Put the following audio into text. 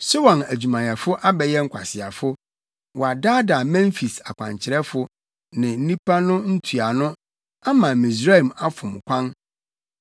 Soan adwumayɛfo abɛyɛ nkwaseafo, wɔadaadaa Memfis + 19.13 Na Memfis yɛ Misraim kuropɔn. akwankyerɛfo ne nnipa no ntuano ama Misraim afom kwan.